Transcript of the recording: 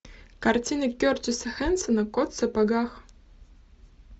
картина кертиса хэнсона кот в сапогах